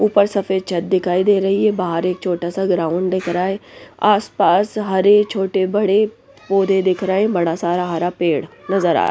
ऊपर सफेद छत दिखाई दे रही हैं बाहर एक छोटा सा ग्राउंड दिख रहा हैं आसपास हरे छोटे बड़े पौधे दिख रहे हैं बड़ा सारा हरा पेड़ नजर आ रहा हैं ।